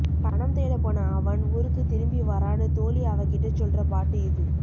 பணம் தேடப் போன அவன் ஊருக்குத்திரும்பி வரான்னு தோழி அவகிட்டச் சொல்ற பாட்டு இது